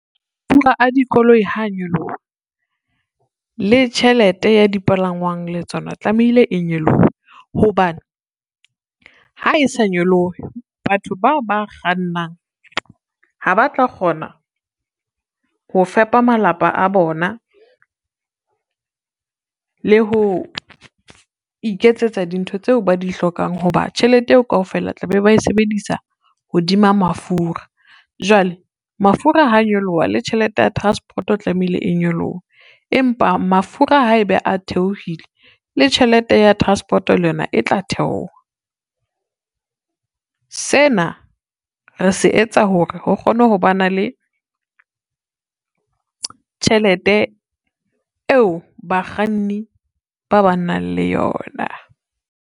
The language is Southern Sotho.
A dikoloi ha nyoloha, le tjhelete ya dipalangwang le tsona tlamehile e nyolohe, hobane ha e sa nyolohe batho bao ba kgannang ha ba tla kgona ho fepa malapa a bona, le ho iketsetsa dintho tseo ba di hlokang ho ba tjhelete eo kaofela tla be bae sebedisa hodima mafura, jwale mafura ha nyoloha le tjhelete ya transport e tlamehile e nyolohe, empa mafura ha ebe a theohile le tjhelete ya transport le yona e tla theoha. Sena re se etsa hore ho kgone ho ba na le tjhelete eo bakganni ba ba nang le yona.